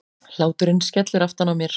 Hláturinn skellur aftan á mér.